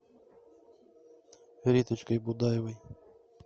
риточкой будаевой